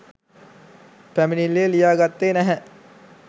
පැමිණිල්ලේ ලියා ගත්තේ නැහැ.